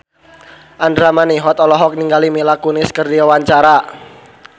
Andra Manihot olohok ningali Mila Kunis keur diwawancara